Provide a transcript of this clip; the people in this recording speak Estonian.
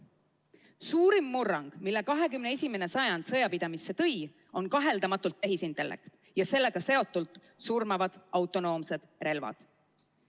Suurim murrang, mille 21. sajand sõjapidamisse on toonud, on kaheldamatult tehisintellekt ja sellega seotult surmavad autonoomsed relvad.